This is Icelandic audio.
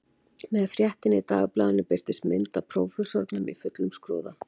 Með fréttinni í dagblaðinu birtist mynd af prófessornum í fullum skrúða